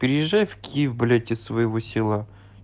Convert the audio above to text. приезжай в киев блять из своего села